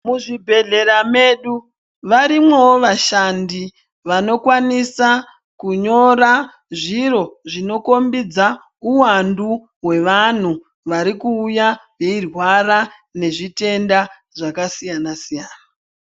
Muzvibhedhlera medu varimwowo vashandi vokwanisa kunyora zviro zvinokombidza uwandu hwevanhu vari kuuya veyirwara nezvitenda zvakasiyana siyana.